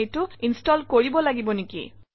এইটো ইনষ্টল কৰিব লাগিব নেকি